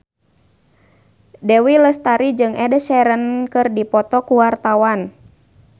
Dewi Lestari jeung Ed Sheeran keur dipoto ku wartawan